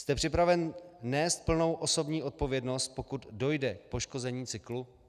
Jste připraven nést plnou osobní odpovědnost, pokud dojde k poškození cyklu?